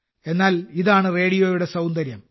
എന്നാൽ ഇതാണ് റേഡിയോയുടെ സൌന്ദര്യം